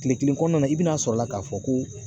Kile kelen kɔnɔna i bi na sɔrɔ la k'a fɔ ko.